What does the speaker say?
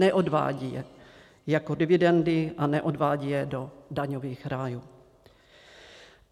Neodvádějí je jako dividendy a neodvádějí je do daňových rájů.